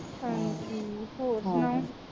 ਹਾਂਜੀ ਹੋਰ ਸਨਾਓ